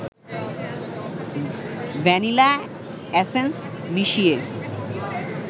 vanilla essence মিশিয়ে